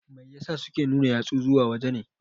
Mai ya sa suke nuna yatsu zuwa waje ne?